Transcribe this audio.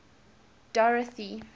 dorothy